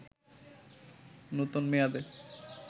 নতুন মেয়াদে